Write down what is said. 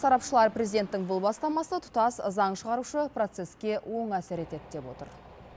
сарапшылар президенттің бұл бастамасы тұтас заң шығарушы процесске оң әсер етеді деп отыр